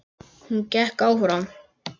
Hún gekk fram.